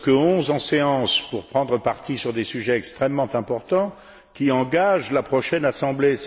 Nous ne sommes que onze en séance aujourd'hui pour prendre parti sur des sujets extrêmement importants, qui engagent la prochaine Assemblée.